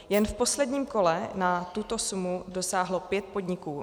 Jen v posledním kole na tuto sumu dosáhlo pět podniků.